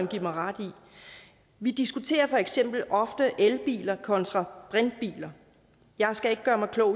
give mig ret i vi diskuterer for eksempel ofte elbiler kontra brintbiler jeg skal ikke gøre mig klog